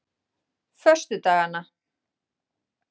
föstudagana